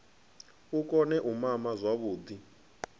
a kone u mama zwavhuḓi